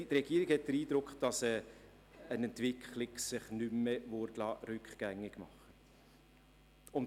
Die Regierung hat den Eindruck, eine entsprechende Entwicklung lasse sich nicht mehr rückgängig machen.